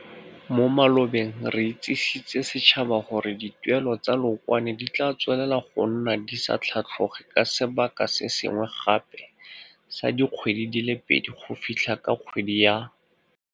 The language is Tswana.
Mo malobeng re itsisitse setšhaba gore dituelelo tsa leokwane di tla tswelela go nna di sa tlhatlhoge ka sebaka se sengwe gape sa dikgwedi di le pedi go fitlha ka kgwedi ya.